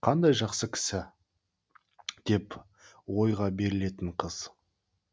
қандай жақсы кісі деп ойға берілетін қыз